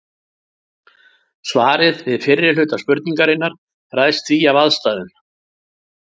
Svarið við fyrri hluta spurningarinnar ræðst því af aðstæðum.